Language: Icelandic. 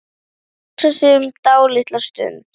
Það er trauðla göfugt starf.